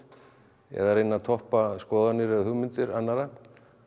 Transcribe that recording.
eða reyna að toppa skoðanir eða hugmyndir annarra